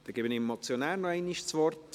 Ich gebe dem Motionär nochmals das Wort.